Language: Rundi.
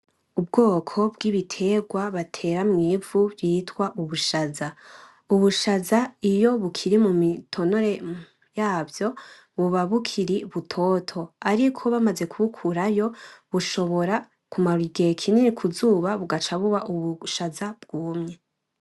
Ubwoko bw'ibitegwa batera mw'ivu vyitwa ubushaza, ubushaza iyo bukiri mu mitonore yavyo buba bukiri butoto ariko bamaze kubukurayo bushobora kumara igihe kinini kuzuba bugaca buba ubushaza bwumye.